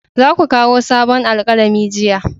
Za ku kawo sabon alkalami jiya!